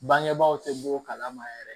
Bangebaaw tɛ bɔ o kalama yɛrɛ